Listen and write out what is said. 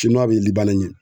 bɛ ɲɛ.